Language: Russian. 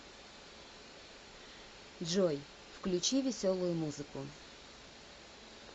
джой включи веселую музыку